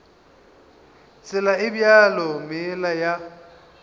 tsela e bjalo meela ya